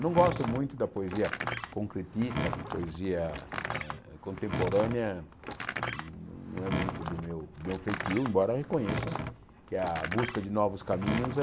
Não gosto muito da poesia concretista, poesia eh contemporânea, não é muito do do meu feitio, embora reconheça que a busca de novos caminhos é...